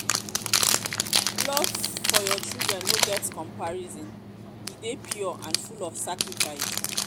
love for your children no get comparison e dey pure and full of sacrifice.